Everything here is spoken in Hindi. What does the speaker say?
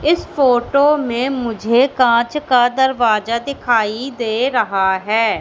इस फोटो में मुझे कांच का दरवाजा दिखाई दे रहा है।